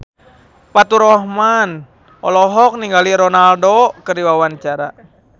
Faturrahman olohok ningali Ronaldo keur diwawancara